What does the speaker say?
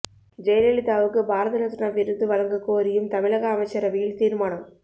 ஜெயலலிதாவுக்குப் பாரத ரத்னா விருது வழங்க கோரியும் தமிழக அமைச்சரவையில் தீர்மானம்